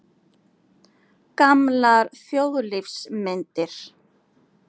Gamlar þjóðlífsmyndir.